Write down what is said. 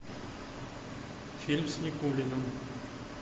фильм с никулиным